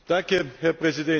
Herr Präsident!